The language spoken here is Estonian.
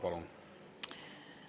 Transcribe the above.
Palun!